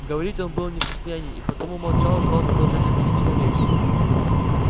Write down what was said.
говорить он был не в состоянии и потому молчал ждал продолжения обвинительной речи